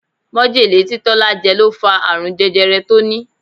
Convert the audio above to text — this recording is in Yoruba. Majele tí Tọ́lá jẹ ló fa àrùn jẹjẹrẹ tó ní.